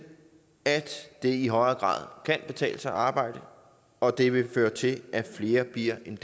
at det i højere grad kan betale sig at arbejde og det vil føre til at flere bliver en